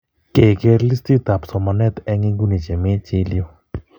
Kekeer listiitab somanet en ingune che miii , chill yu.